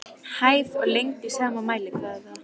Hæð og lengd í sama mælikvarða.